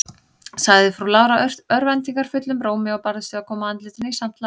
sagði frú Lára örvæntingarfullum rómi, og barðist við að koma andlitinu í samt lag.